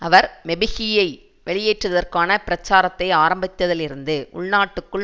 அவர் மெபெகியை வெளியேற்றுவதற்கான பிரச்சாரத்தை ஆரம்பித்ததிலிருந்து உள்நாட்டுக்குள்